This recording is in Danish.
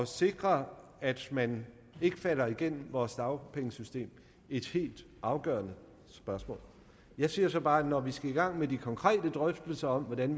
sikre at man ikke falder igennem vores dagpengesystem et helt afgørende spørgsmål jeg siger så bare at når vi skal i gang med de konkrete drøftelser om hvordan